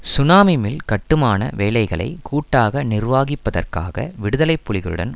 சுனாமிமிள் கட்டுமான வேலைகளை கூட்டாக நிர்வாகிப்பதற்காக விடுதலை புலிகளுடன்